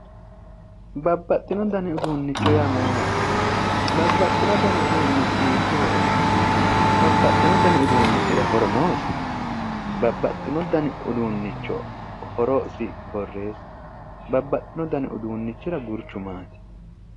babbaxxino dani uduunnicho yaa mayyaate? babbaxxewo dani uduunnichi hiikko hee'rawo? babbaxxino dani uduunnichira horo noosi? babbaxxino dani uduunnichita horosi borreesssi ?babbaxxino dani uduunnichira gurchu maati?